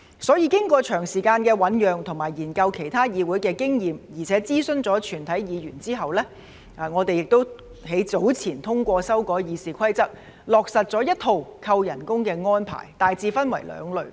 所以，經過長時間的醞釀和研究其他議會的經驗，並且諮詢全體議員後，我們早前也通過修改《議事規則》，落實一套扣減酬金的安排，大致分為兩類。